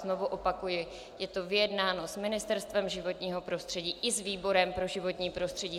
Znovu opakuji, je to vyjednáno s Ministerstvem životního prostředí i s výborem pro životní prostředí.